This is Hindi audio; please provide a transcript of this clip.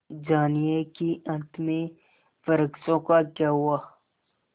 जानिए कि अंत में वृक्षों का क्या हुआ